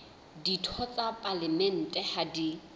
ditho tsa palamente ha di